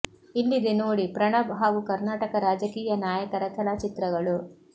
ಇಲ್ಲಿದೆ ನೋಡಿ ಪ್ರಣಬ್ ಹಾಗೂ ಕರ್ನಾಟಕ ರಾಜಕೀಯ ನಾಯಕರ ಕೆಲ ಚಿತ್ರಗಳು